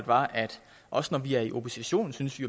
var at også når vi er i opposition synes vi